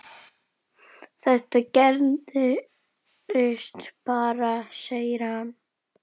Þetta gerist bara, segir hann.